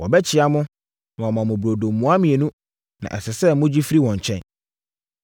Wɔbɛkyea mo, na wɔama mo burodo mua mmienu, na ɛsɛ sɛ mogye firi wɔn nkyɛn.